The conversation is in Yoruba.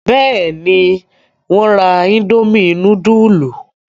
Bẹ́ẹ̀ni, wọ́n ra indomie núdúlù.